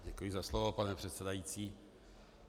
Děkuji za slovo, pane předsedající.